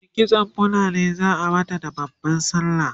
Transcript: e kitsan fulani zaa mata da babban sallah